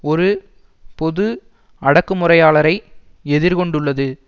ஒரு பொது அடக்குமுறையாளரை எதிர் கொண்டுள்ளது